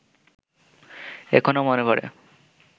এখনো মনে পড়ে